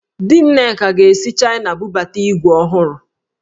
Di Nneka ga-esi Chaịna bubata ígwè ọhụrụ